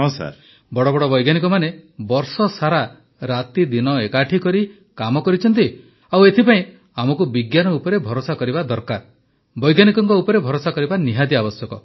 ପ୍ରଧାନମନ୍ତ୍ରୀ ବଡ଼ ବଡ଼ ବୈଜ୍ଞାନିକମାନେ ବର୍ଷସାରା ରାତିଦିନ ଏକାଠି କରି କାମ କରିଛନ୍ତି ଆଉ ଏଥିପାଇଁ ଆମକୁ ବିଜ୍ଞାନ ଉପରେ ଭରସା କରିବା ଦରକାର ବୈଜ୍ଞାନିକଙ୍କ ଉପରେ ଭରସା କରିବା ଆବଶ୍ୟକ